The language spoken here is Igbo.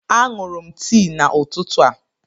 A ṅụrụ m tii n'ụtụtụ a.